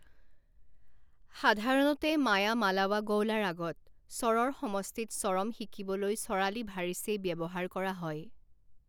সাধাৰণতে মায়ামালাৱাগওলা ৰাগত, স্বৰৰ সমষ্টিত স্বৰম শিকিবলৈ চৰালি ভাৰিচেই ব্যৱহাৰ কৰা হয়।